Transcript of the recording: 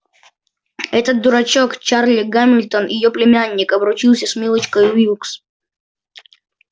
этот дурачок чарли гамильтон её племянник обручится с милочкой уилкс